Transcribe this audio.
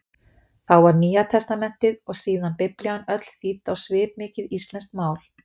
Þá var Nýjatestamentið, og síðan Biblían öll þýdd á svipmikið íslenskt mál.